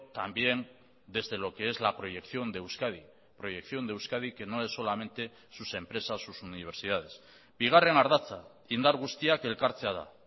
también desde lo que es la proyección de euskadi proyección de euskadi que no es solamente sus empresas sus universidades bigarren ardatza indar guztiak elkartzea da